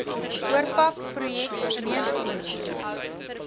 oorpak projek meentkomitees